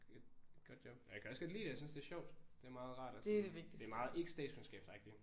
Et godt job og jeg kan også godt lide det jeg synes det er sjovt det er meget rart og sådan det er meget ikke statskundskabsagtigt